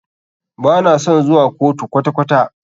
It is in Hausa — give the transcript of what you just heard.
Ba na son zuwa kotu kwata kwata.